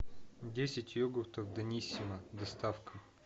десять йогуртов даниссимо доставка